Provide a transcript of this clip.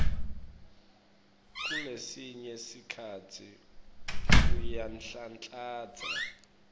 kulesinye sikhatsi uyanhlanhlatsa